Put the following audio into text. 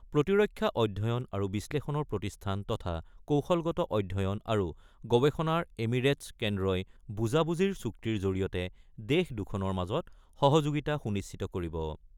প্ৰতিৰক্ষা অধ্যয়ণ আৰু বিশ্লেষণৰ প্ৰতিষ্ঠান তথা কৌশলগত অধ্যয়ণ আৰু গৱেষণাৰ এমিৰেটছ কেন্দ্ৰই বুজাবুজিৰ চুক্তিৰ জৰিয়তে দেশ দুখনৰ মাজৰ সহযোগিতা সুনিশ্চিত কৰিব।